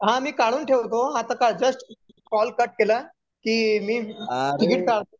हा मी काढून ठेवतो आता का जस्ट कॉल कट केला की मी तिकीट काढतो मी